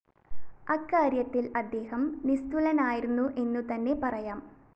അക്കാര്യത്തില്‍ അദ്ദേഹം നിസ്തുലനായിരുന്നു എന്നുതന്നെ പറയാം